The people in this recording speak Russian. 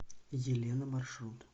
елена маршрут